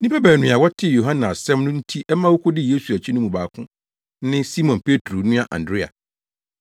Nnipa baanu a wɔtee Yohane asɛm no nti ɛma wokodii Yesu akyi no mu baako ne Simon Petro nua Andrea.